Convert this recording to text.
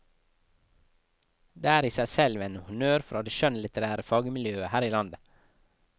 Det er i seg selv en honnør fra det skjønnlitterære fagmiljøet her i landet.